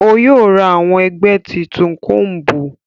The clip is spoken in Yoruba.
O yóò rá awon ẹgbẹ títún combu